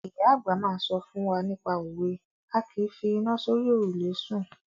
Ìyá àgbà máa ń sọ fún wa nípa òwe "A kìí fi iná sórí òrùlé sùn".